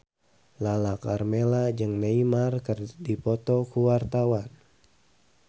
Lala Karmela jeung Neymar keur dipoto ku wartawan